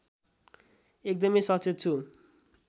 एकदमै सचेत छु